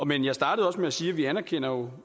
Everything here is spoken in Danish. men jeg startede også med at sige at vi anerkender